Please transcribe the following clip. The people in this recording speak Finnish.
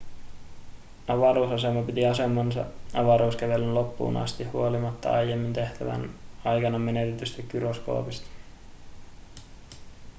avaruusasema piti asemansa avaruuskävelyn loppuun asti huolimatta aiemmin tehtävän aikana menetetystä gyroskoopista